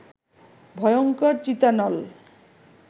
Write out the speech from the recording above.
ভয়ঙ্কর চিতানল